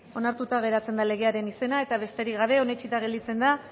onartuta geratzen da legearen izena eta besterik gabe onetsita gelditzen da